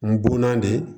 N bonna de